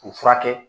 K'u furakɛ